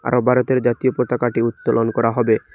আরো ভারতের জাতীয় পতাকাটি উত্তোলন করা হবে।